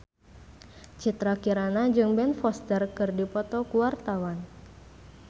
Citra Kirana jeung Ben Foster keur dipoto ku wartawan